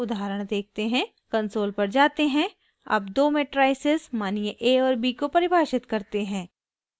console पर वापस जाते हैं अब दो मेट्राइसेस मानिये a और b को परिभाषित करते हैं